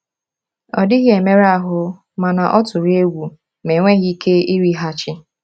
Ọ dịghị emerụ ahụ, mana ọ tụrụ egwu ma enweghị ike ịrịghachi.